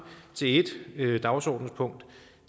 til ét dagsordenspunkt